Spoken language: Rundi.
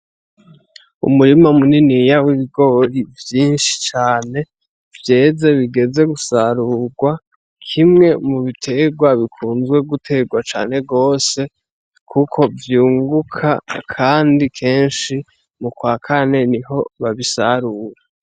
Umurima muniniya w'ibigori vyinshi cane, vyeze bigeze gusarugwa kimwe mu bitegwa bikunze gutegwa cane gose kuko vyunguka kandi kenshi mukwa kane niho babisarura.